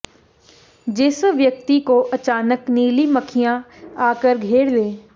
जिस व्यक्ति को अचानक नीली मक्खियां आकर घेर लें